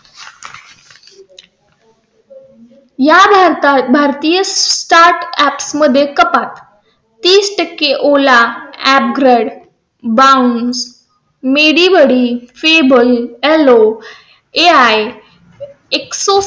या भारतात भारतीय startup मध्ये कपात तीस टक्के ola, upgrade, bounce, medibuddy, febble, alo, ai आई इत्यादी.